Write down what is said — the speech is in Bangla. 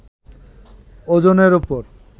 ওজনের উপর